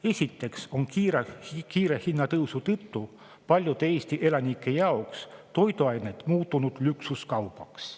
Esiteks on kiire hinnatõusu tõttu paljud Eesti elanike jaoks toiduained muutunud luksuskaubaks.